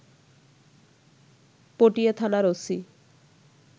পটিয়া থানার ওসি